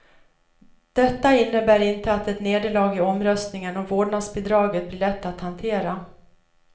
Detta innebär inte att ett nederlag i omröstningen om vårdnadsbidraget blir lätt att hantera.